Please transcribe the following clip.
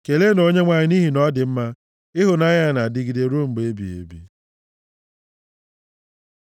Keleenụ Onyenwe anyị nʼihi na ọ dị mma, ịhụnanya ya na-adịgide ruo mgbe ebighị ebi.